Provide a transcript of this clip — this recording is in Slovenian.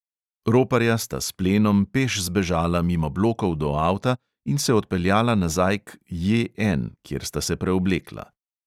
Roparja sta s plenom peš zbežala mimo blokov do avta in se odpeljala nazaj k J N, kjer sta se preoblekla.